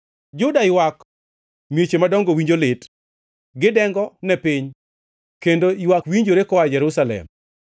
“Juda ywak, mieche madongo winjo lit; gidengo ne piny, kendo ywak winjore koa Jerusalem.